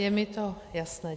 Je mi to jasné.